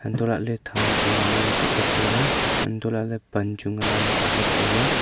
antoh la ley them chu ngan kap ley tai ley antoh la ley pan chu ngan kap ley tai ley.